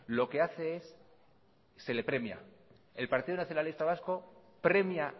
lo que hace es se le premia el partido nacionalista vasco premia